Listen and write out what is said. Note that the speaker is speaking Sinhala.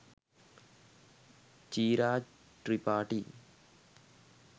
“චීරා ට්‍රිපාටි “